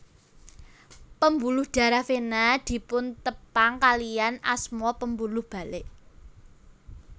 Pembuluh darah vena dipuntepang kaliyan asma pembuluh balik